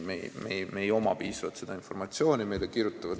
Meil ei ole küllaldaselt informatsiooni.